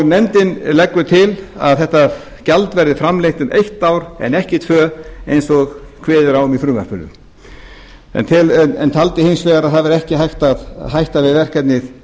nefndin leggur til að þetta gjald verði framlengt um eitt ár en ekki tvö eins og kveðið er á um í frumvarpinu en taldi hins vegar að það væri ekki hægt að hætta við verkefnið